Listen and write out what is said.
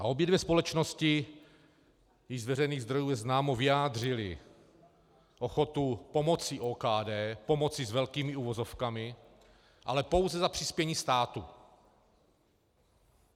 A obě dvě společnosti, již z veřejných zdrojů je známo, vyjádřily ochotu pomoci OKD, pomoci s velkými uvozovkami, ale pouze za přispění státu.